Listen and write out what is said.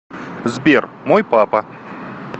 сбер мой папа